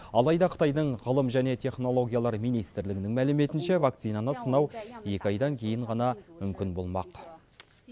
алайда қытайдың ғылым және технологиялар министрлігінің мәліметінше вакцинаны сынау екі айдан кейін ғана мүмкін болмақ